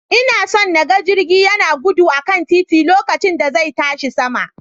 Ina so na ga jirgi yana gudu a kan titi lokacin da zai tashi sama.